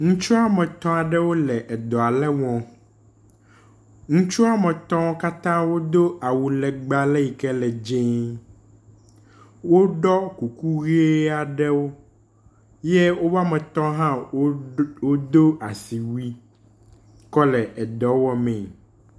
Ŋutsu woametɔ̃ aɖe wole edɔ aɖe wɔm. Ŋutsɔ woametɔ̃ katã wodo awu legbe aɖe yi ke le dzĩĩ. Woɖɔ kuku ʋi aɖewo ye woametɔ̃ hã wodo asiwui kɔ le edɔ wɔ mee